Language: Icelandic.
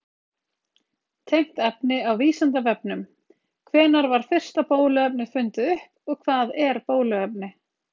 Tengt efni á Vísindavefnum: Hvenær var fyrsta bóluefnið fundið upp og hvað er bóluefni?